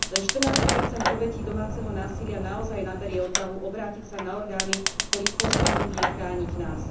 Len 14 obetí domáceho násilia naozaj naberie odvahu obrátiť sa na orgány, ktorých poslaním je chrániť nás.